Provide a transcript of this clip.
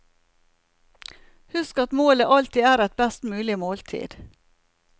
Husk at målet alltid er et best mulig måltid.